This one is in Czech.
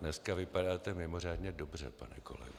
Dneska vypadáte mimořádně dobře, pane kolego.